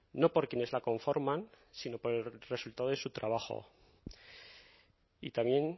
no por quienes la conforman sino por el resultado de su trabajo y también